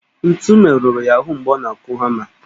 Ntu merụrụ ya ahụ mgbe ọ na-akụ hama